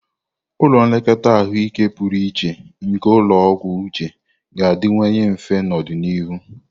Ụlọ nlekọta ahụike pụrụ iche nke ulo ogwu uche ga-adịwanye mfe n'ọdịnihu.